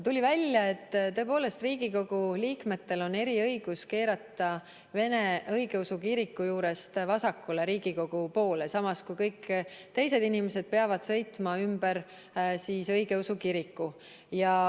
Tuli välja, et tõepoolest Riigikogu liikmetel on eriõigus keerata vene õigeusu kiriku juurest vasakule Riigikogu poole, samas kui kõik teised inimesed peavad sõitma ümber kiriku.